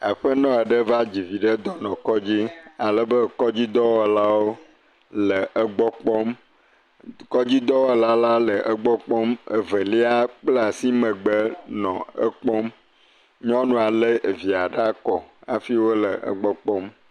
Aƒenɔ aɖe va dzi vi ɖe dɔnɔkɔdzi alebe Kɔdzidɔwɔlawo le egbɔ kpɔm, evelia kpla asi megbe nɔ ekpɔm. Nyɔnua le evia ɖe ekɔ wole egbɔ kpɔm.